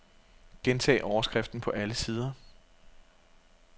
Gentag overskriften på alle sider.